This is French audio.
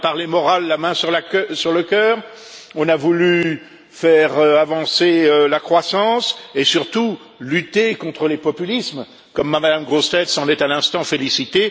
On a parlé morale, la main sur le cœur, on a voulu faire avancer la croissance et surtout lutter contre les populismes, comme Mme Grossetête s'en est, à l'instant, félicitée.